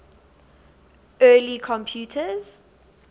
early computers